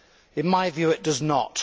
In my view, it does not.